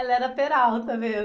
Ela era peralta mesmo.